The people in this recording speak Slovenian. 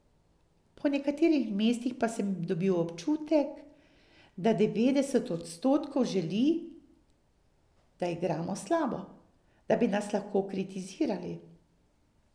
Po nekaterih mestih pa sem dobil občutek, da devetdeset odstotkov želi, da igramo slabo, da bi nas lahko kritizirali.